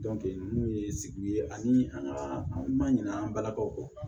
ninnu ye sigi ye ani an ka an ma ɲina an balakaw kɔ